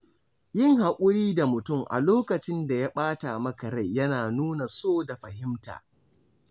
Yin haƙuri da mutum a lokacin da ya ɓata maka rai yana nuna so da fahimta.